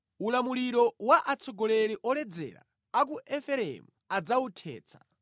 Ulamuliro wa atsogoleri oledzera a ku Efereimu adzawuthetsa.